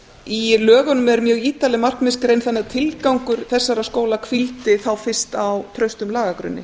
í lögunum er mjög ítarleg markmiðsgrein þannig að tilgangur þessara skóla hvíldi þá fyrst á traustum lagagrunni